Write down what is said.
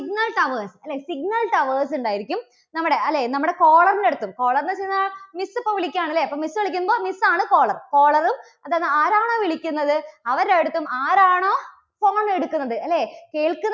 signal towers അല്ലേ signal towers ഉണ്ടായിരിക്കും. നമ്മുടെ അല്ലേ, നമ്മുടെ caller ന്റെ അടുത്തും caller എന്നു വെച്ചുകഴിഞ്ഞാൽ miss ഇപ്പോൾ വിളിക്കുകയാണ് അല്ലേ? miss വിളിക്കുമ്പോൾ miss ആണ് caller. caller ഉം അതായത് ആരാണോ വിളിക്കുന്നത് അവരുടെ അടുത്തും ആരാണോ phone എടുക്കുന്നത്, അല്ലേ കേൾക്കുന്ന~